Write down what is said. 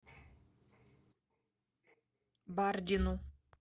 бардину